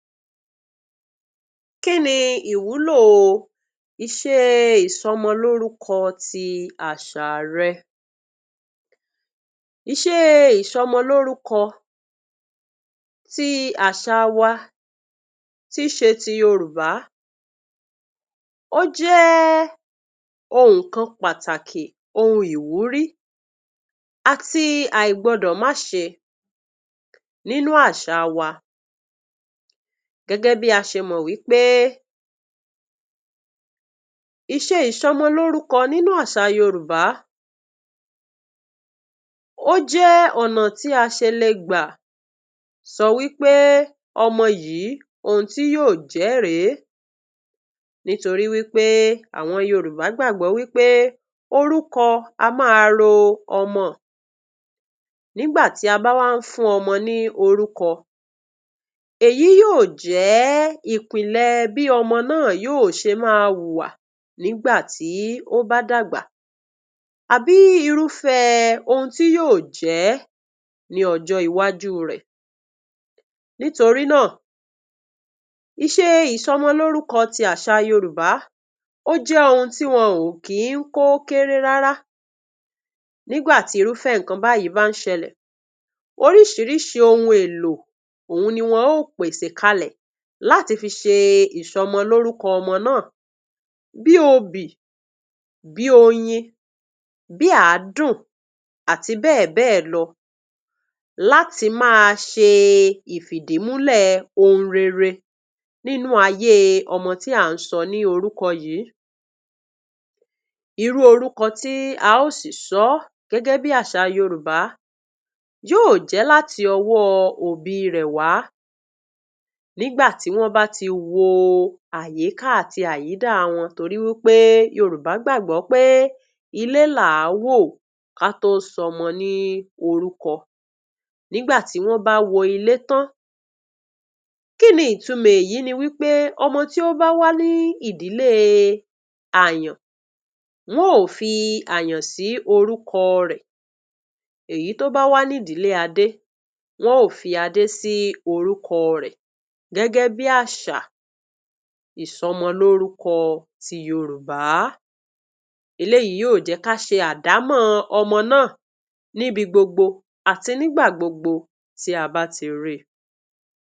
Kí ni ìwúlò ìṣe ti ìsọmọlórúkọ ti àṣà rọ? Ìṣe ìsọmọlórúkọ ti àṣà wa tíí ṣe ti Yorùbá ó jẹ́ ohun kan pàtàkì, ohun ìwúrí àti àìgbọdọ̀máṣe nínú àṣa wa. Gẹ́gẹ́ bí a ṣe mọ̀ wí pé ìṣe ìsọmọlórúkọ nínú àṣà Yorùbá ó jẹ́ ọ̀nà tí a ṣe le gbà sọ wí pé ọmọ yìí, ohun tí yóò jẹ́ ré é, nítorí wí pé àwọn Yorùbá gbágbọ́ wí pé orúkọ a máa ro ọmọ. Nígbà tí a bá wá ń fún ọmọ ní orúkọ, èyí yóò jẹ́ ìpìlẹ̀ bí ọmọ náà yóò ṣe máa hùwà nígbà tí ó bá dàgbà, àbí irúfẹ́ ohun tí yóò jẹ́ ní ọjọ́ iwájú rẹ̀. Nítorí náà, ìṣe ìsọmọlórúkọ ti àṣà Yorùbá ó jẹ́ ohu tí wọn ò kí ń kó kééré rárá. Nígbà tí irúfẹ́ nǹkan báyìí bá ń ṣẹlẹ̀, oríṣiríṣi ohun èlò òhun ni wọn ó pèsè kalẹ̀ láti fi ṣe ìsọmọlórúkọ ọmọ náà, bíi obì, bí oyin, bí àádùn àti bẹ́ẹ̀bẹ́ẹ̀ lọ láti máa ṣe ìfìdímúlẹ̀ ohun rere nínú ayé ọmọ tí à ń sọ ní orúkọ yìí. Irú orúkọ tí a ó sì sọ ọ́ gẹ́gẹ́ bí àṣà Yorùbá yóò jẹ́ láti ọwọ́ òbí rẹ̀ wá nígbà tí wọ́n bá ti wo àyíká àti àyídà wọn, torí wí pé Yorùbá gbàgbọ́ pé ilé làá wò ká tó sọmọ ní orúkọ. Nígbà tí wọ́n bá wo ilé tán, kí ni ìtumọ̀ èyí ni wí pé ọmọ tí ó bá wá ní ìdílée àyàn, wọ́n ó fi àyàn sí orúkọ rẹ̀, èyí tó bá wá nídìílé adé, wọ́n ó fi adé sí orúkọ rẹ̀ gẹ́gẹ́ bí àṣà ìsọmọlórúkọ ti Yorùbá. Eléyìí yóò jẹ́ ká ṣe àdámọ̀ ọmọ náà níbi gbogbo àti nígbà gbogbo tí a bá ti ríi.